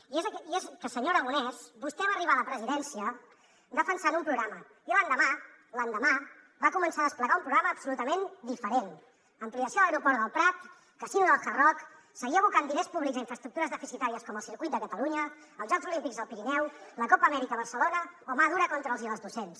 i és que senyor aragonès vostè va arribar a la presidència defensant un programa i l’endemà l’endemà va començar a desplegar un programa absolutament diferent ampliació de l’aeroport del prat casino del hard rock seguir abocant diners públics a infraestructures deficitàries com el circuit de catalunya els jocs olímpics al pirineu la copa amèrica a barcelona o mà dura contra els i les docents